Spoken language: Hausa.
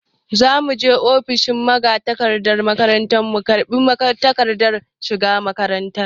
Za mu je ofishin magatakardar makaranta mu karɓi takardar shiga makaranta.